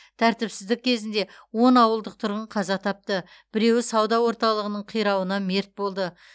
тәртіпсіздік кезінде он ауылдық тұрғын қаза тапты біреуі сауда орталығының қирауынан мерт болды